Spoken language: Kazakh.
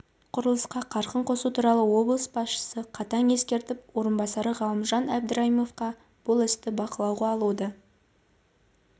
құрылысқа қарқын қосу туралы облыс басшысы қатаң ескертіп орынбасары ғалымжан әбдірайымовқа бұл істі бақалауға алуды